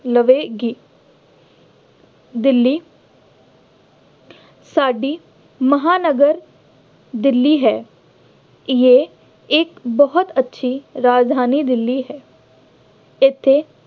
ਲਵੇਗੀ ਦਿੱਲੀ ਸਾਡੀ ਮਹਾਂਨਗਰ ਦਿੱਲੀ ਹੈ। ਇਹ ਇੱਕ ਬਹੁਤ ਅੱਛੀ ਰਾਜਧਾਨੀ ਦਿੱਲੀ ਹੈ। ਇੱਥੇ